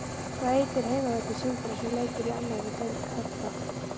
Hvað heitir heimavöllur Sindra sem leikur í annarri deild karla?